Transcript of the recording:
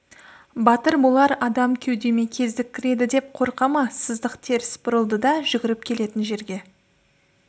батыр болар адам кеудеме кездік кіреді деп қорқа ма сыздық теріс бұрылды да жүгіріп келетін жерге